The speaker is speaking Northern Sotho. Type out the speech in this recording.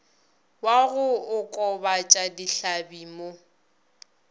wa go okobatša dihlabi mo